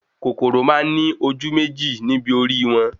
Kòkòrò máa ní ojú méjì ni ibi orí wọn